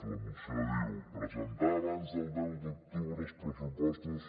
la moció diu presentar abans del deu d’octubre els pressupostos